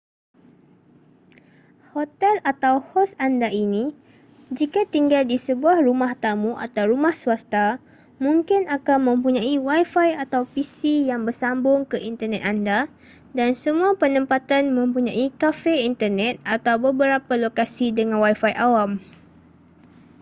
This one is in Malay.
hotel atau hos anda ini jika tinggal di sebuah rumah tamu atau rumah swasta mungkin akan mempunyai wifi atau pc yang bersambung ke internet anda dan semua penempatan mempunyai kafe internet atau beberapa lokasi dengan wifi awam